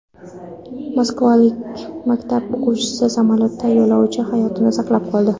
Moskvalik maktab o‘quvchisi samolyotda yo‘lovchi hayotini saqlab qoldi.